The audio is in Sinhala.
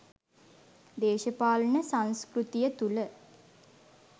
දේශපාලන සංස්කෘතිය තුළ